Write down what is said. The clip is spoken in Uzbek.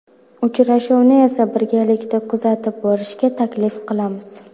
Uchrashuvni esa birgalikda kuzatib borishga taklif qilamiz.